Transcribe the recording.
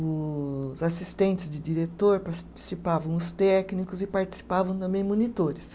Os assistentes de diretor participavam, os técnicos e participavam também monitores.